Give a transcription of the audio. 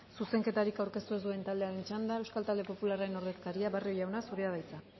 zuzenketarik aurkeztu ez duen taldearen txanda euskal talde popularraren ordezkaria barrio jauna zurea da hitza